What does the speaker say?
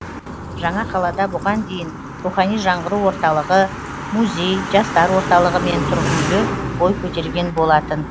жаңа қалада бұған дейін рухани жаңғыру орталығы музей жастар орталығы мен тұрғын үйлер бой көтерген болатын